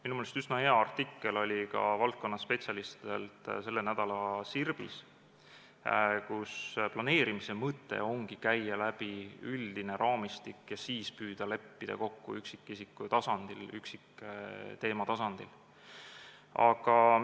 Minu meelest oli üsna hea artikkel valdkonna spetsialistidelt eelmise nädala Sirbis, kus räägiti, et planeerimise mõte ongi käia läbi üldine raamistik ja siis püüda leppida kokku üksikisiku tasandil, üksikteema tasandil.